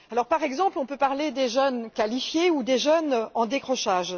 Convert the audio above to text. Par exemple, on peut parler des jeunes qualifiés ou des jeunes en décrochage.